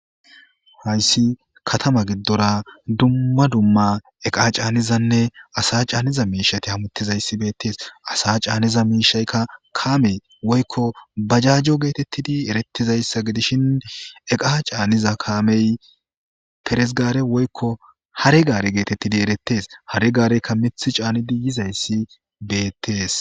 Hayssi katama giddora duma duma iqqa c'anizanne asa c'anniza miishshati hamutizayssi beetes asa c'anizza miishayka kaame woykko bajajo gettetid erettizayssa gidishin iqqa c'aaniza kaamey peres gaare woykko hare gaare gettetidi erettes hare gaareyka miiththa c'aanidi yizayssi beettes.